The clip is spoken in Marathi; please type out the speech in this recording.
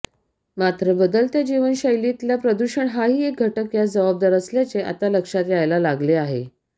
मात्र बदलत्या जीवनशैलीतला प्रदूषण हाही घटक यास जबाबदार असल्याचे आता लक्षात यायला लागले आहे